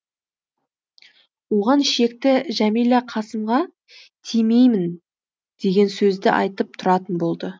оған шекті жәмила қасымға тимеймін деген сөзді айтып тұратын болды